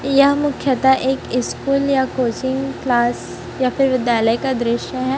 यह मुख्यतः एक स्कूल या कोचिंग क्लास या फिर विद्यालय का दृश्य है।